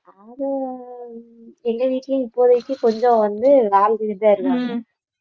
அது எங்க வீட்டுலயும் இப்போதைக்கு கொஞ்சம் வந்து இருக்காங்க